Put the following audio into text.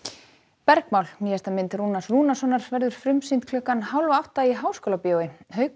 bergmál nýjasta mynd Rúnars Rúnarssonar verður frumsýnd klukkan hálf átta í Háskólabíói haukur